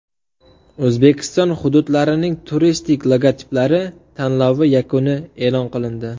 O‘zbekiston hududlarining turistik logotiplari tanlovi yakuni e’lon qilindi.